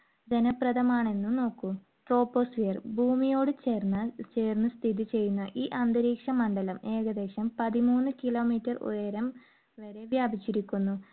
പ്രയോജനപ്രദമാണെന്നും നോക്കൂ. troposphere ഭൂമിയോട് ചേർന്നാൽ~ചേർന്ന് സ്ഥിതിചെയ്യുന്ന ഈ അന്തരീക്ഷ മണ്ഡലം ഏകദേശം പതിമൂന്ന് kilometer ഉയരം വരെ വ്യാപിച്ചിരിക്കുന്നു.